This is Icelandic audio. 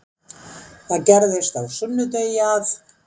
Það gerðist á sunnudegi að